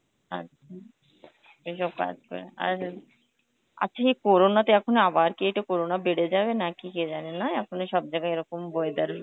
আচ্ছা এইসব কাজ করে আর আর ঠিক corona তো আবার কি এইটা corona বেড়ে যাবে নাকি কে জানে নয়, এখনই সব জায়গায় এরকম weather.